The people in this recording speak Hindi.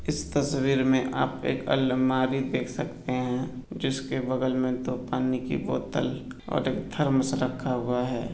इस तस्वीर में आप एक अलमारी देख सकते है जिसके बगल में दो पानी की बोतल और एक थर्मस रखा गया है।